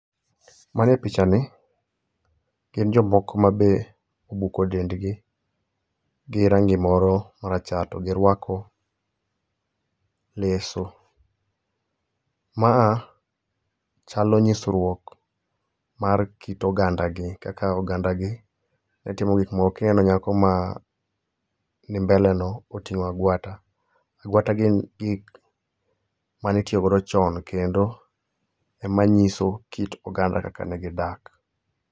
Manie picha ni, gin jomoko ma be obuko dendgi gi rangi moro ma rachar to giruako leso. Maa chalo nyisruok mar kit oganda gi kaka oganda gi ne timo gik moko. Kineno nyako ma ni mbele no oting'o agwata. Agwata gin gik mane itiyo godo chon kendo ema nyiso kit oganda kaka negidak,.